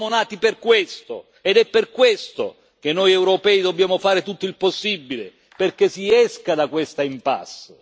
Siamo nati per questo ed è per questo che noi europei dobbiamo fare tutto il possibile perché si esca da questa impasse.